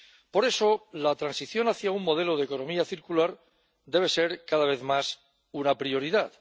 Por eso, la transición hacia un modelo de economía circular debe ser, cada vez más, una prioridad.